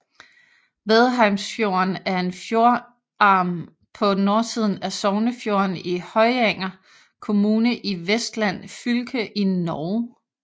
Vadheimsfjorden er en fjordarm på nordsiden af Sognefjorden i Høyanger kommune i Vestland fylke i Norge